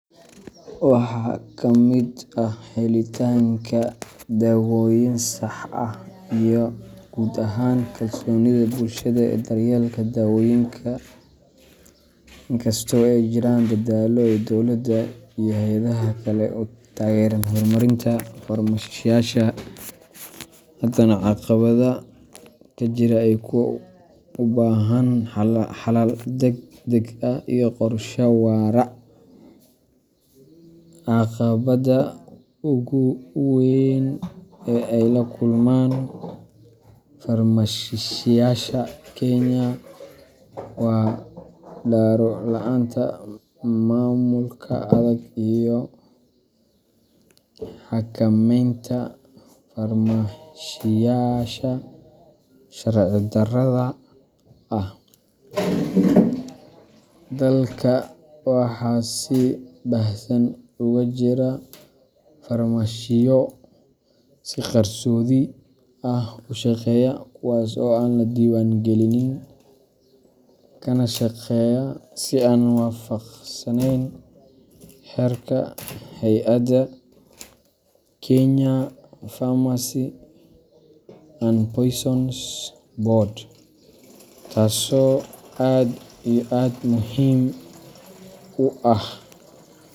Waxaa kamid helitaanka dawooyin sax ah, iyo guud ahaan kalsoonida bulshada ee daryeelka dawooyinka. Inkastoo ay jiraan dadaallo ay dowladda iyo hay’adaha kale ku taageeraan hormarinta farmashiyaasha, haddana caqabadaha jira waa kuwo u baahan xalal degdeg ah iyo qorshe waara. Caqabadda ugu weyn ee ay la kulmaan farmashiyaasha Kenya waa daro la’aanta maamulka adag iyo xakamaynta farmashiyaasha sharci darrada ah. Dalka waxaa si baahsan uga jira farmashiyo si qarsoodi ah u shaqeeya kuwaas oo aan la diiwaangelin, kana shaqeeya si aan waafaqsaneyn xeerarka hay’adda Kenya Pharmacy and Poisons Board. Taso aad iyo aad muhim u ah.